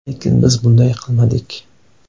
Lekin biz bunday qilmadik.